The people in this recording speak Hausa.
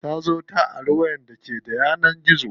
Ta zo ta ari wayar da ke da yanar gizo.